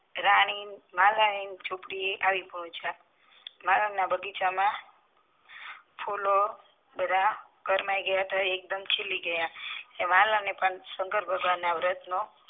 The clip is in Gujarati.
રાની માલની ની ઝૂંપડી એ આવી પહોચીયા માળના બગીચામાં ફૂલો કરમાય ગયા હતા તે એકદમ ખીલી ગયા માલ ને પણ શંકર ભગવાન ના વ્રત નો